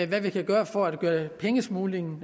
vi kan gøre for at gøre omfanget af pengesmugling